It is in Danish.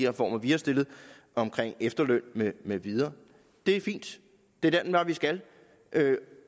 reformer vi har stillet om efterlønnen med videre det er fint det er den vej vi skal